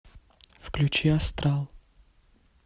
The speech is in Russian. включи астрал